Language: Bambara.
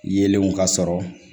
Yelenw ka sɔrɔ